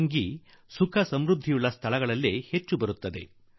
dengue ಸುಖೀ ಮತ್ತು ಸಮೃದ್ಧಿಯ ಜಾಗಗಳಲ್ಲೇ ಮೊದಲು ಹುಟ್ಟಿಕೊಳ್ಳುತ್ತದೆ